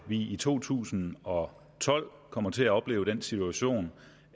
vi i to tusind og tolv kom til at opleve den situation